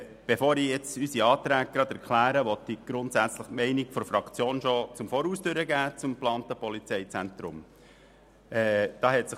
Bevor ich unsere Anträge erkläre, möchte ich die Meinung der Fraktion zum geplanten Polizeizentrum (PZB) bereits von vornherein bekannt geben.